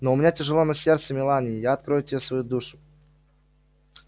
но у меня тяжело на сердце мелани и я открою тебе свою душу